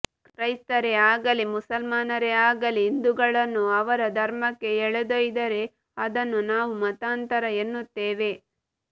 ಕ್ರೈಸ್ತರೇ ಆಗಲಿ ಮುಸಲ್ಮಾನರೇ ಆಗಲಿ ಹಿಂದುಗಳನ್ನು ಅವರ ಧರ್ಮಕ್ಕೆ ಎಳೆದೊಯ್ದರೆ ಅದನ್ನು ನಾವು ಮತಾಂತರ ಎನ್ನುತ್ತೇವೆ